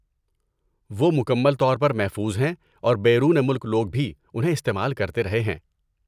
وہ مکمل طور پر محفوظ ہیں اور بیرون ملک لوگ بھی انہیں استعمال کرتے رہے ہیں۔